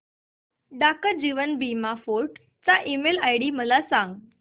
डाक जीवन बीमा फोर्ट चा ईमेल आयडी मला सांग